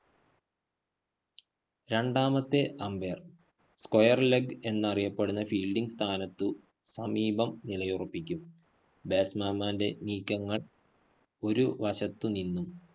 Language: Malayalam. രണ്ടാമത്തെ umpire, square leg എന്നറിയപ്പെടുന്ന fielding സ്ഥാനത്ത് സമീപം നിലയുറപ്പിക്കും. batsman മാന്റെ നീക്കങ്ങള്‍ ഒരു വശത്തു നിന്നും.